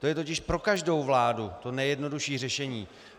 To je totiž pro každou vládu to nejjednodušší řešení.